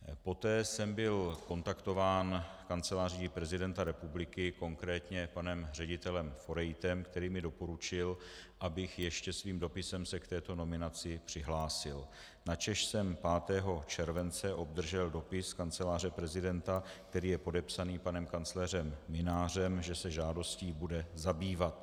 Poté jsem byl kontaktován Kanceláří prezidenta republiky, konkrétně panem ředitelem Forejtem, který mi doporučil, abych ještě svým dopisem se k této nominaci přihlásil, načež jsem 5. července obdržel dopis Kanceláře prezidenta, který je podepsaný panem kancléřem Mynářem, že se žádostí bude zabývat.